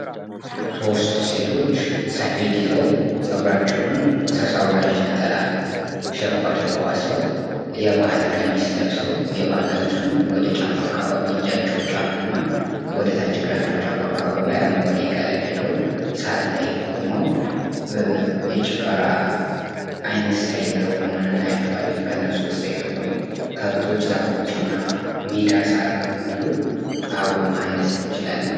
ሶስት ሴቶች ሰፌድ ይዘው ጸጉራቸውን ሳሳ ባለች ነጠላ ሽብ አድርገው አስረው የባህል ቀሚስ ለብሰው የባህል ቀሚሱን ወደ ታች አካባቢ እጃቸው ጫፍ አከባቢ እና እግራቸው ጫፉ አካባቢ አረንጓዴ ቀለም ያለው ሳር ላይ ቆመው የጭፈራ አይነት ስታይል እያሳዩ እናያቸዋለን ፤ ከእነርሱ ጀርባ ከብቶች ፥ ዛፎች ፥ እና ሜዳሳር አብሮ ማየት እንችላለን።